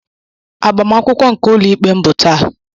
Agbamakwụkwọ nke ụlọ ikpe m bụ taa.